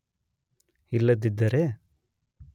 ಇಲ್ಲದಿದ್ದರೆ